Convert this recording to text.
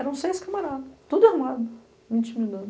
Eram seis camaradas, tudo armado, me intimidando.